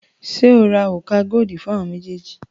Ṣé o ra òrùka godi fún àwọn méjèèjì?